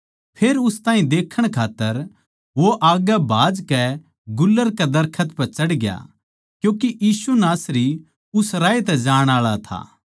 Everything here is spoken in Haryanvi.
फेर उस ताहीं देक्खण खात्तर वो आग्गै भाजकै गुलर कै दरखत पै चढ़ग्या क्यूँके यीशु नासरी उस्से राह तै जाण आळा था